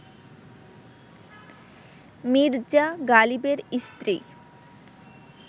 মির্জা গালিবের স্ত্রী